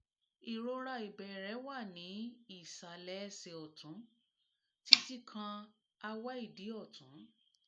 ìrora ìbẹ̀rẹ̀ wà ní ìsàlẹ̀ ẹsẹ̀ ọ̀tún títí kan awe idi ọ̀tún